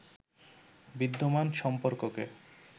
বিদ্যমান সম্পর্ককে